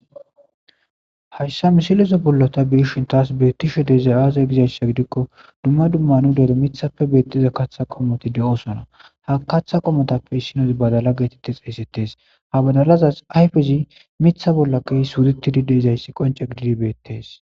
hayssa misilezo bollota biishin taas beettishe deza aaze gizayssa gidikko dumma dumma nu dere mithappe beettiza katha qomoti de7osona ha katha qomotappe issinozi badala geetette xayssettes ha badalazas ayfezi mitha bollakkeysuditi dide izayssi qonce gididibeettes